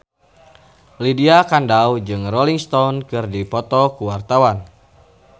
Lydia Kandou jeung Rolling Stone keur dipoto ku wartawan